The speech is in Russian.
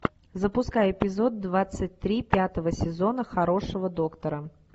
запускай эпизод двадцать три пятого сезона хорошего доктора